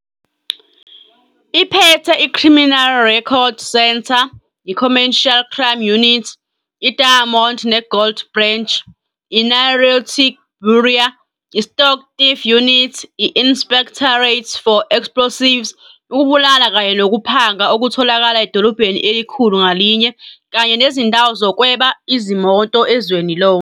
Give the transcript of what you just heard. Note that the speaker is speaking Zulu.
Iphethe "iCriminal Record Center", "iCommercial Crime Unit", "iDiamond neGold Branch", "iNarcotics Bureau", "iStock Theft Unit", i- "Inspectorate for Explosives", ukubulala kanye nokuphanga okutholakala edolobheni elikhulu ngalinye, kanye nezindawo zokweba izimoto ezweni lonke.